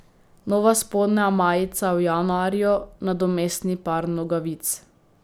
Nova spodnja majica v januarju, nadomestni par nogavic.